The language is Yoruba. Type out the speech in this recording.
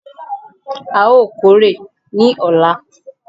A óò kórè ní ọ̀la!